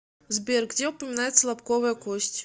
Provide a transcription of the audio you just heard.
сбер где упоминается лобковая кость